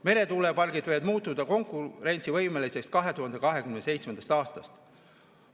Meretuulepargid võivad muutuda konkurentsivõimeliseks 2027. aastast.